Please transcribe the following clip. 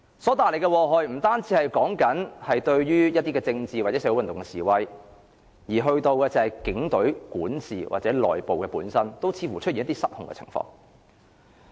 所帶來的禍害，不限於於政治或社會運動方面，連警隊管治或內部似乎也出現失控的情況。